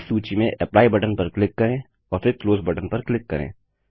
इस सूची में एप्ली बटन पर क्लिक करें और फिर क्लोज बटन पर क्लिक करें